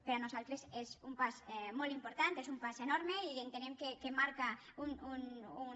per nosaltres és un pas molt important és un pas enorme i entenem que marca un